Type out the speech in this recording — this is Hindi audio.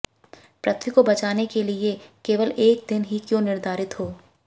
पृथ्वी को बचाने के लिए केवल एक दिन हीं क्यों निर्धरित हो